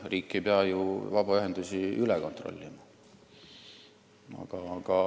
Riik ei pea ju vabaühendusi üle kontrollima.